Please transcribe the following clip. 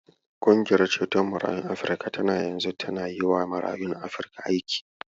Ƙungiyar ceto marayun Afrika tana yanzu tana yiwa marayun Afrika aiki.